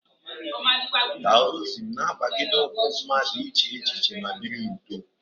Taoism na-agbagide ụkwụ mmadụ ịche echiche ma biri n'udo.